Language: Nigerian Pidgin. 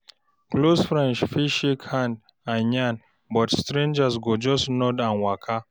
Close friends fit shake hand and yarn, but stranger go just nod and waka.